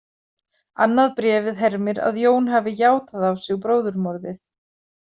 Annað bréfið hermir að Jón hafi játað á sig bróðurmorðið.